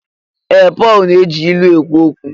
Ee! Pọl na-eji ilu ekwu okwu.